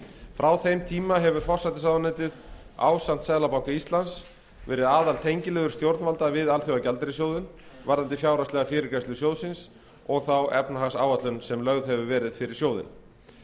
frá þeim tíma hefur forsætisráðuneytið ásamt seðlabanka íslands verið aðaltengiliður stjórnvalda við alþjóðagjaldeyrissjóðinn varðandi fjárhagslega fyrirgreiðslu sjóðsins og þá efnahagsáætlun sem lögð hefur verið fyrir sjóðinn